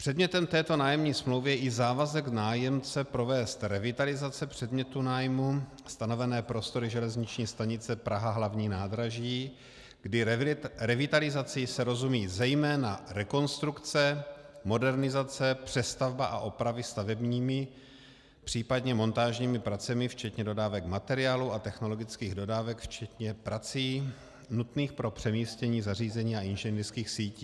Předmětem této nájemní smlouvy je i závazek nájemce provést revitalizace předmětu nájmu, stanovené prostory železniční stanice Praha hlavní nádraží, kdy revitalizací se rozumí zejména rekonstrukce, modernizace, přestavba a opravy stavebními, případně montážními pracemi včetně dodávek materiálu a technologických dodávek včetně prací nutných pro přemístění zařízení a inženýrských sítí.